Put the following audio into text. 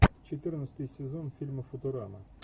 четырнадцатый сезон фильма футурама